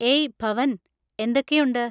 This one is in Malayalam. ഏയ് ഭവൻ, എന്തൊക്കെയുണ്ട്?